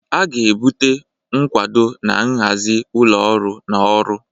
A ga-ebute nkwado na nhazi ụlọ ọrụ na ọrụ.